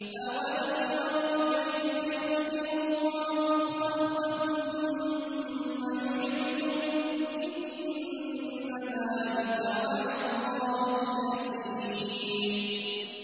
أَوَلَمْ يَرَوْا كَيْفَ يُبْدِئُ اللَّهُ الْخَلْقَ ثُمَّ يُعِيدُهُ ۚ إِنَّ ذَٰلِكَ عَلَى اللَّهِ يَسِيرٌ